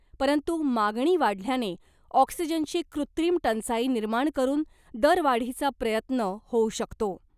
परंतु मागणी वाढल्याने ऑक्सिजनची कृत्रिम टंचाई निर्माण करून दरवाढीचा प्रयत्न होऊ शकतो .